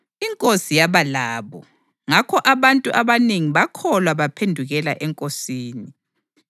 INkosi yaba labo, ngakho abantu abanengi bakholwa baphendukela eNkosini.